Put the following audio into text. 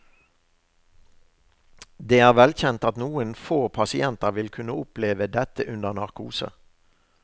Det er velkjent at noen få pasienter vil kunne oppleve dette under narkose.